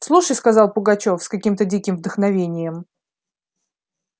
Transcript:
слушай сказал пугачёв с каким-то диким вдохновением